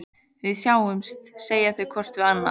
Við sjáumst, segja þau hvort við annað.